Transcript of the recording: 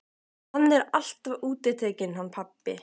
Hann er alltaf útitekinn hann pabbi.